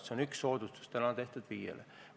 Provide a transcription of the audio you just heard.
See on üks soodustus, mis täna on FIE-dele tehtud.